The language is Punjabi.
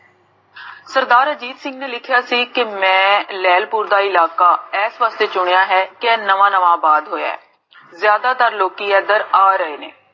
ਸਰਦਾਰ ਅਜੀਤ ਸਿੰਘ ਜੀ ਨੇ ਲਿਖਿਆ ਸੀ ਕੇ ਮੈਂ, ਲੇਹ੍ਲਪੁਰ ਦਾ ਇਲਾਕਾ, ਇਸ ਵਾਸਤੇ ਚੁਣਿਆ ਹੈ, ਕਿ ਨਵਾ ਨਵਾ ਪਾਸ ਹੋਇਆ ਹੈ ਜਾਦਾ ਤਰ ਲੋਕੀ ਏਦਰ ਆ ਰਹੇ ਨੇ